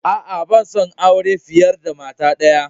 A'a, ban son aure fiyar da mata daya.